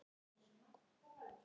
Á þessu hafði hún klifað.